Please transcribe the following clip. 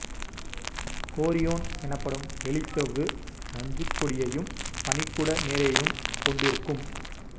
chorion எனப்படும் வெளிச்சவ்வு நஞ்சுக்கொடி யையும் பனிக்குட நீரையும் கொண்டிருக்கும்